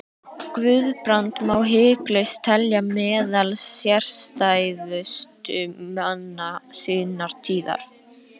Guðbrand má hiklaust telja meðal sérstæðustu manna sinnar tíðar.